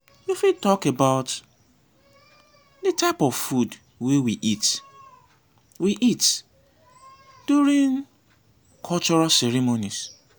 you fit talk about di types of food wey we eat we eat during cultural ceremonies.